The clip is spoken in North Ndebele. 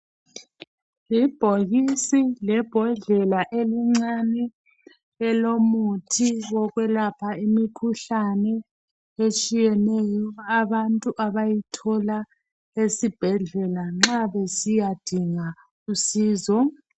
Yibhokisi lebhodlela elincani elomuthi wokwelapha imikhuhlane etshiyeneyo abantu abayithola esibhedlela nxa besiya dinga usizo.